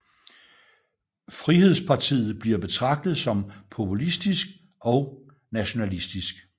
Frihedspartiet bliver betragtet som populistisk og nationalistisk